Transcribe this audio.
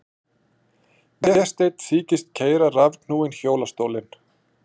Vésteinn þykist keyra rafknúinn hjólastólinn.